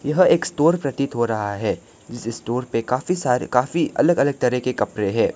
यह एक स्टोर प्रतीत हो रहा हैं जिस स्टोर पे काफी सारे काफी अलग अलग तरह के कपड़े हैं।